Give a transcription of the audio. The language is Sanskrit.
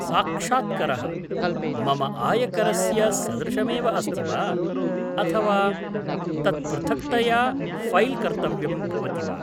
साक्षात्करः, मम आयकरस्य सदृशमेव अस्ति वा, अथवा तत् पृथक्तया फैल् कर्तव्यं भवति वा?